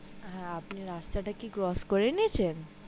হ্যা আপনে কি রাস্তা টা crotch করে নিয়েছেন